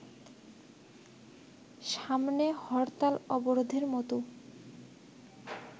সামনে হরতাল-অবরোধের মতো